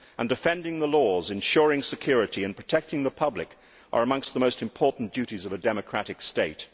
and defending the laws and ensuring security and protecting the public are amongst the most important duties of a democratic state.